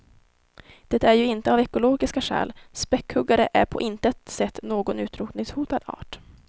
Det är ju inte av ekologiska skäl; späckhuggare är på intet sätt någon utrotningshotad art.